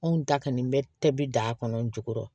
Anw da kɔni bɛ tɛ bi da kɔnɔ n jukɔrɔ